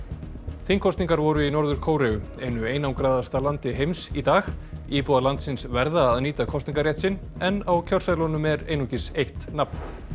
þingkosningar voru í Norður Kóreu einu einangraðasta landi heims í dag íbúar landsins verða að nýta kosningarétt sinn en á kjörseðlunum er einungis eitt nafn